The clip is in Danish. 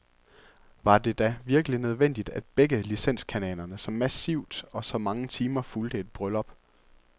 Var det da virkelig nødvendigt, at begge licenskanalerne så massivt og så mange timer fulgte et bryllup?